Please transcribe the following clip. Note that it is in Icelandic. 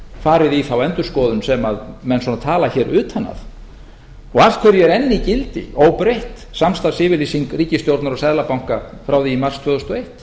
farið í þá endurskoðun sem menn svona tala hér utan að og af hverju er enn í gildi óbreytt samstarfsyfirlýsing ríkisstjórnar og seðlabanka frá því í mars tvö þúsund og eitt